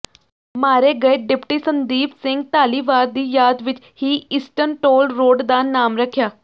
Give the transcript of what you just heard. ਮਾਰੇ ਗਏ ਡਿਪਟੀ ਸੰਦੀਪ ਸਿੰਘ ਧਾਲੀਵਾਲ ਦੀ ਯਾਦ ਵਿਚ ਹਿਈਸਟਨ ਟੋਲ ਰੋਡ ਦਾ ਨਾਮ ਰਖਿਆ